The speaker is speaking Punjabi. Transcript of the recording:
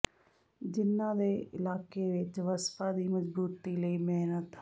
ਜਿਨ੍ਹਾਂ ਨੇ ਇਲਾਕੇ ਵਿੱਚ ਵਸਪਾ ਦੀ ਮਜਬੂਤੀ ਲਈ ਮਿਹਨਤ